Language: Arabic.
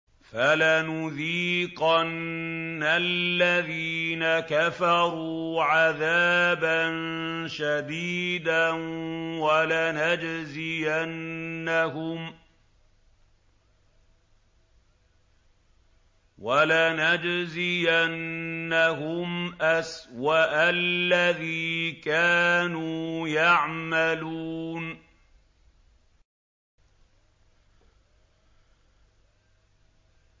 فَلَنُذِيقَنَّ الَّذِينَ كَفَرُوا عَذَابًا شَدِيدًا وَلَنَجْزِيَنَّهُمْ أَسْوَأَ الَّذِي كَانُوا يَعْمَلُونَ